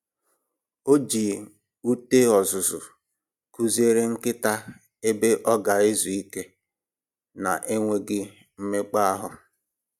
O ji ute ọzụzụ kụziere nkịta ebe ọ ga-ezu ike na-enweghị mmekpa ahụ